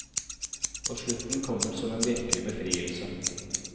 Og slutten kommer som en virkelig befrielse.